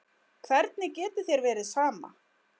Hvernig getur þér verið sama?